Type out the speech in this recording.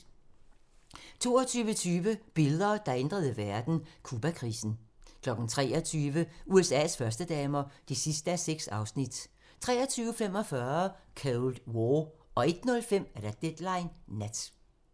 22:20: Billeder, der ændrede verden: Cubakrisen 23:00: USA's førstedamer (6:6) 23:45: Cold War 01:05: Deadline Nat